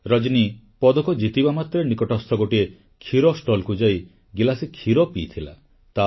ରଜନୀ ପଦକ ଜିତିବା ମାତ୍ରେ ନିକଟସ୍ଥ ଗୋଟିଏ କ୍ଷୀର ଷ୍ଟଲକୁ ଯାଇ ଗିଲାସେ କ୍ଷୀର ପିଇଥିଲା